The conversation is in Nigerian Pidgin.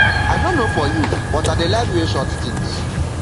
i no know for you but i dey like wear short things